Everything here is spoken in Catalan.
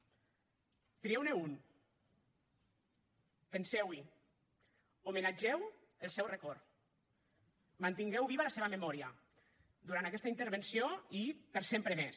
trieu ne un penseu hi homenatgeu el seu record mantingueu viva la seva memòria durant aquesta intervenció i per sempre més